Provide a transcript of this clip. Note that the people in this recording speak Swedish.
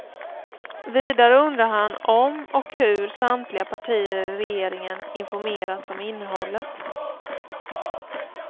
Vidare undrar han om och hur samtliga partier i regeringen informerats om innehållet.